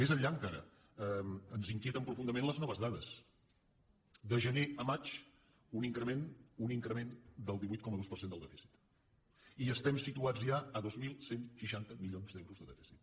més enllà encara ens inquieten profundament les noves dades de gener a maig un increment un increment del divuit coma dos per cent del dèficit i estem situats ja a dos mil cent i seixanta milions d’euros de dèficit